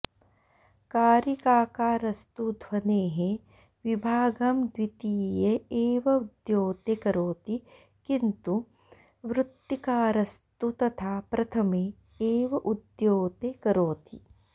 कारिकाकारस्तु ध्वनेः विभागं द्वितीये एव उद्योते करोति किन्तु वृत्तिकारस्तु तथा प्रथमे एव उद्योते करोति